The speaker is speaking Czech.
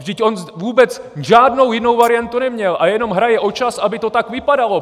Vždyť on vůbec žádnou jinou variantu neměl a jenom hraje o čas, aby to tak vypadalo!